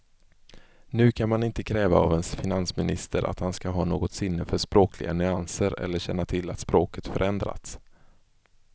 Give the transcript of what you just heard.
Nu kan man inte kräva av en finansminister att han ska ha något sinne för språkliga nyanser eller känna till att språket förändrats.